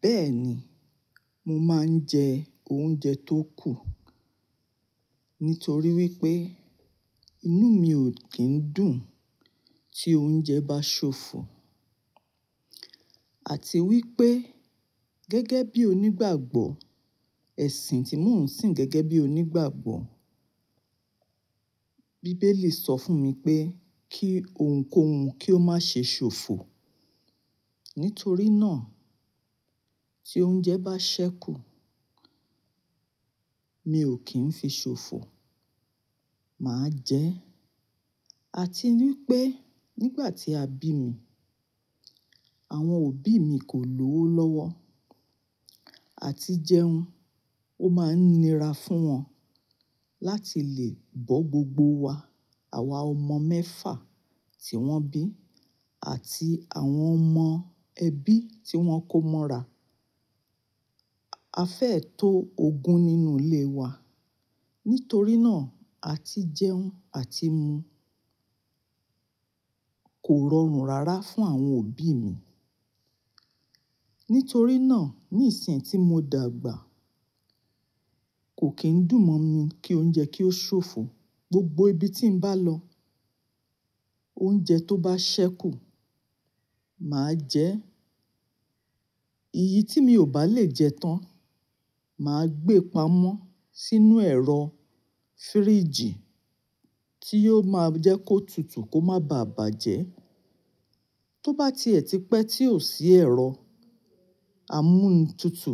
Bẹ́ẹ̀ni, mo máa ń jẹ oúnjẹ tó kù nítorí wípé inú mi ò kí ń dùn tí oúnjẹ bá ṣòfò àti wípé gẹ́gẹ́ bí onígbàgbọ́, ẹ̀sìn tí mò ń sìn gẹ́gẹ́ bí onígbàgbọ́, bíbélì sọ fún mi pé kí ohunkóhun kí ó má ṣe ṣòfò. Nítorí náà tí oúnjẹ bá ṣẹ́kù, mi ò kí ń fi ṣòfò, mà á jẹ́. Àti wípé nígbà tí a bí mi, àwọn òbí mi kò lówo lọ́wọ́ àti jẹun. Ó máa ń nira fún wọn láti lè bọ́ gbogbo wa àwa ọmọ mẹ́fà tí wọ́n bí àti àwọn ọmọ ẹbí tí wọ́n kó mọ́ra. A fẹ́ tó ogún nínú ilé wa, nítorí náà àti jẹun àti mu kò rọrùn rárá fún àwọn òbí mi. Nítorí náà ní ìsìn tí mo dàgbà kò kín dùn mọ́ mi kí oúnjẹ kí ó ṣòfò. Gbogbo ibi tí n bá lọ oúnjẹ tó bá ṣẹ́kù mà á jẹ ẹ́. Èyí tí mi ò bá lè jẹ tán mà á gbé pamọ́ sínú ẹ̀rọ fíríjì tí yóò máa jẹ́ kó tutù kó má bá à bàjẹ́. Tó bá ti ẹ̀ ti pẹ́ tí ò sí ẹ̀rọ amúntutù,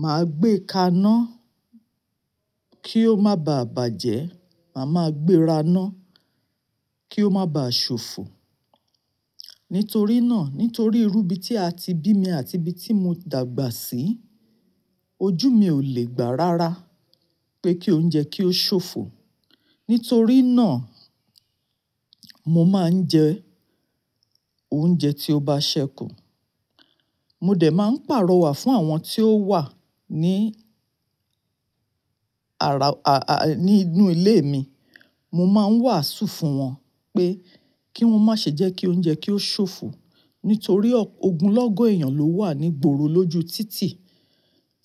mà á gbé ka ná kí ó má bá à bàjẹ́, mà á gbé ra ná kí ó má bá à ṣòfò. Nítorí náà nítorí irú ibi tí a ti bí mi àti ibi tí mo dàgbà sí ojú mi ò lè gbà rárá pé kí oúnjẹ kí ó ṣòfò. Nítorí náà mo máa ń jẹ oúnjẹ tí ó bá ṣẹ́kù. Mo dẹ̀ máa ń pàrọ̀ wà fún àwọn tí ó wà ní ara, à, à, ní inú ilé mi. Mo máa ń wàásù fún wọn pé kí wọ́n má ṣe jẹ́ kí oúnjẹ kí ó ṣòfò nítorí ọ̀ ogunlọ́gọ̀ èèyàn ló wà ní gboro lóju títì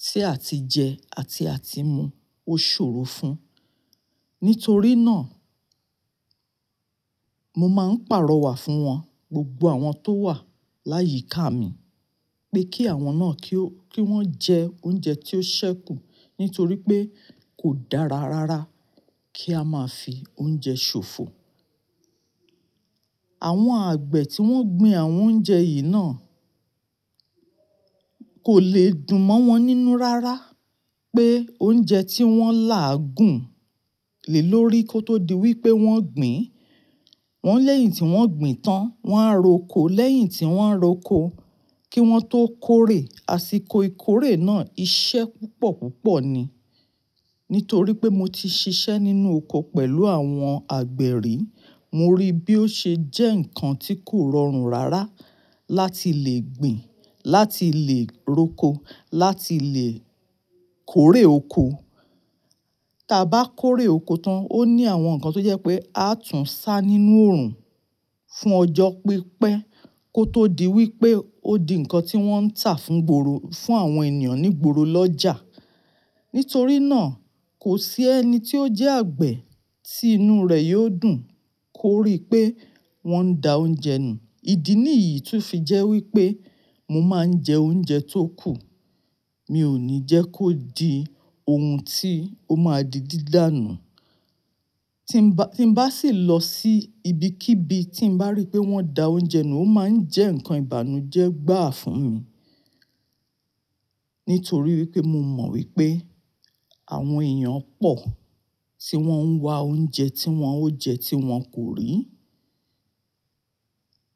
tí a ti jẹ àti a ti mu ó ṣòro fún. Nítorí náà mo máa ń pàrọ̀ wà fún wọn gbogbo àwọn tó wà láyìíká mi pé kí àwọn náà kí ó, kí wọ́n jẹ oúnjẹ tí ó ṣẹ́kù nítorí pé kò dára rárá kí a máa fi oúnjẹ ṣòfò. Àwọn àgbẹ̀ tí wọ́n gbin àwọn oúnjẹ yìí náà kò le dùn mọ́ wọn nínú rárá pé oúnjẹ tí wọ́n là gùn lè lórí kó tó di wípé wọ́n gbìn. Wọ́n lẹ́yìn tí wọ́n gbìn tán, wọ́n á roko lẹ́yìn tí wọ́n roko kí wọ́n tó kórè, àsìkò ìkórè náà iṣẹ́ púpọ̀ púpọ̀ ni. Nítorí pé mo ti ṣiṣẹ́ nínú oko pẹ̀lú àwọn àgbè ri, mo rí bí ó ṣe jẹ́ ǹkan tí kò rọrùn rárá láti lè gbìn, láti lè roko, láti lè kórè oko. Tí a bá kórè oko tán, ó ní àwọn ǹkan tó jẹ́ pé a tún sá nínú oòrùn fún ọjọ́ pípẹ́ kó tó di wípé ó di ǹkan tí wọ́n ń tà fún gboro, fún àwọn ènìyàn ní gboro lọ́jà. Nítorí náà kò sí ẹni tí ó jẹ́ àgbẹ̀ tí inú rẹ̀ yóò dùn kó rí pé wọ́n da oúnjẹ nù. Ìdí nìyí to fi jẹ́ wípé mo máa ń jẹ oúnjẹ tó kù. Mi ò ní jẹ́ kó di ohun tí ó máa di dídánù. Tí ń bá, tí ń bá sì lọ sí ibikíbi tí ń bá rí pé wọ́n da oúnjẹ nù, ó máa ń jẹ́ ǹkan ìbànújẹ́ gbà fún mi nítorí wípé mo mọ̀ wípé àwọn èèyàn pọ̀ tí wọ́n ń wa oúnjẹ tí wọ́n ó jẹ tí wọn kò rí.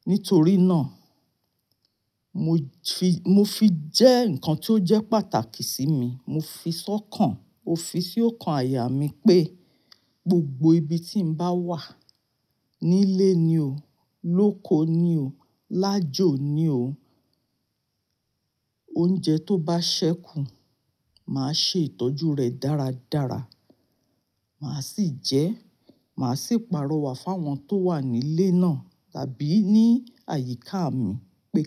Nítorí náà mo fi, mo fi jẹ́ ǹkan tí ó jẹ́ pàtàkì sí mi. Mo fi sọ́kàn, mò fi si ó kan àyà mi pé gbogbo ibi tí ń bá wà nílé ni o, lóko ni o, lájọ̀ ni o oúnjẹ tó bá ṣẹ́kù mà á ṣe ìtọ́jú rẹ̀ dáradára. Mà á sì jẹ ẹ́, mà á sì pàrọ̀ wà fún àwọn tó wà nílé náà tàbí ní àyíká mi pé.